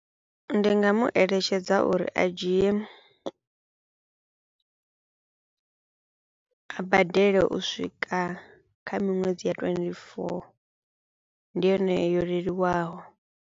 Ndi nga mu eletshedza uri a dzhie, a badele u swika kha miṅwedzi ya twenty four ndi yone yo leluwaho.